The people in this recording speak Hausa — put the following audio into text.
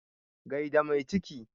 Gai da mai ciki.